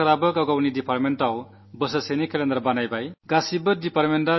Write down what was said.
ഭാരത സർക്കാരിലെ ഓരോരോ വകുപ്പുകളും ഒരു വർഷത്തേക്കുള്ള ടൈംടേബൾ തയ്യാറാക്കിയിട്ടുണ്ട്